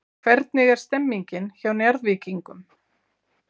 Hvernig er stemningin hjá Njarðvíkingum?